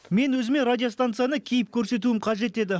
мен өзіме радиостанцияны киіп көрсетуім қажет еді